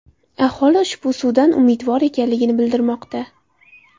Aholi ushbu suvdan umidvor ekanligini bildirmoqda.